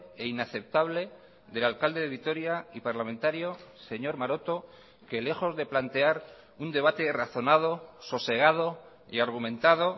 e inaceptable del alcalde de vitoria y parlamentario señor maroto que lejos de plantear un debate razonado sosegado y argumentado